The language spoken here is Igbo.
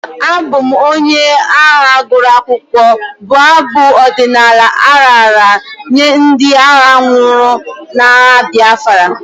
Abụ m onye agha gụrụ akwụkwọ'' bụ abụ ọdịnala a raara nye ndị agha nwụrụ n'agha Biafra.